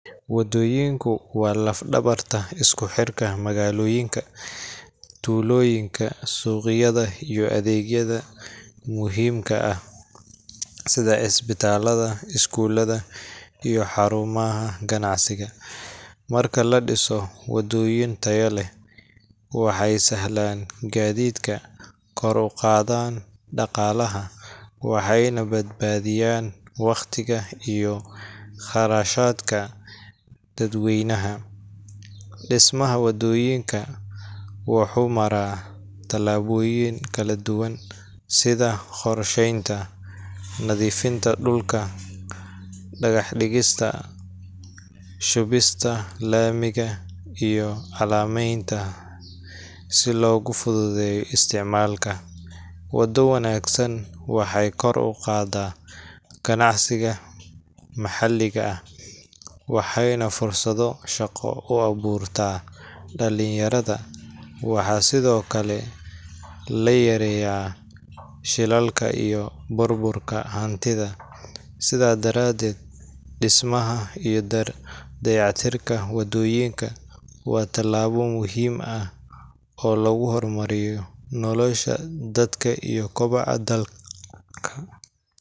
Wadooyinku waa laf-dhabarta isku xirka magaalooyinka, tuulooyinka, suuqyada iyo adeegyada muhiimka ah sida isbitaalada, iskuulada iyo xarumaha ganacsiga. Marka la dhiso wadooyin tayo leh, waxay sahlaan gaadiidka, kor u qaadaan dhaqaalaha, waxayna badbaadiyaan waqtiga iyo kharashaadka dadweynaha. Dhismaha wadooyinka wuxuu maraa tallaabooyin kala duwan sida: qorsheynta, nadiifinta dhulka, dhagax dhigista, shubista laamiga, iyo calaamadeynta si loogu fududeeyo isticmaalka. Wado wanaagsan waxay kor u qaaddaa ganacsiga maxalliga ah, waxayna fursado shaqo u abuurtaa dhalinyarada. Waxaa sidoo kale la yareeyaa shilalka iyo burburka hantida. Sidaas darteed, dhismaha iyo dayactirka wadooyinka waa tallaabo muhiim ah oo lagu horumarinayo nolosha dadka iyo koboca dalka